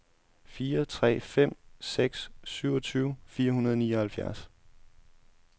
fire tre fem seks syvogtyve fire hundrede og nioghalvfjerds